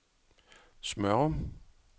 Smørum